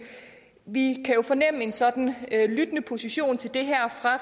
vi kan jo fornemme en sådan lyttende position til det her fra